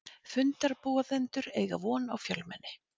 Fundarboðendur eiga von á fjölmenni